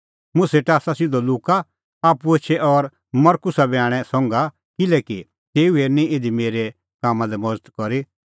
मुंह सेटा आसा सिधअ लुका आप्पू एछै और मरकुसा बी आणै संघा किल्हैकि तेऊ हेरनी इधी मेरै कामां लै मज़त करी